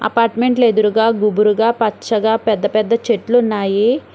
Apartment ట్లేదురుగ గుబురుగా పచ్చగా పెద్ద పెద్ద చెట్లు ఉన్నాయి.